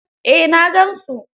Eh, na gan su.